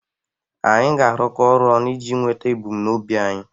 Anyị ga-arụkọ ọrụ iji nweta ebumnobi anyị.